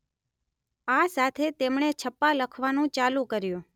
આ સાથે તેમણે છપ્પા લખવાનું ચાલુ કર્યું.